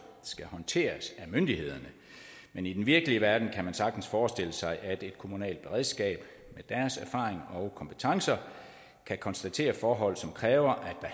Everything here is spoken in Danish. skal håndteres af myndighederne men i den virkelige verden kan man sagtens forestille sig at et kommunalt beredskab med deres erfaring og kompetencer kan konstatere forhold som kræver at